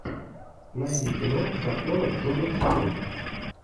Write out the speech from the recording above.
найди кино с актером джоном хиллом